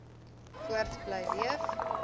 voort bly leef